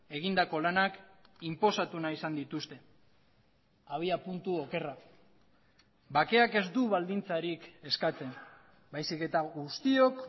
egindako lanak inposatu nahi izan dituzte abiapuntu okerra bakeak ez du baldintzarik eskatzen baizik eta guztiok